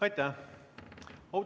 Aitäh!